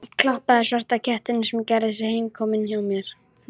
Klappaði svarta kettinum sem gerði sig heimakominn hjá mér.